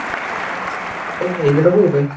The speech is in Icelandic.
Allir gíslarnir eru heilir á húfi